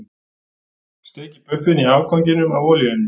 Steikið buffin í afganginum af olíunni.